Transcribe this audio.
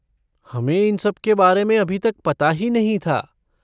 हमें इन सब के बारे में अभी तक पता ही नहीं था।